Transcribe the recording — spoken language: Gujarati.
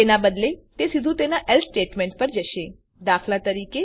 તેનાં બદલે તે સીધું તેના એલ્સે સ્ટેટમેંટ પર જશે દાત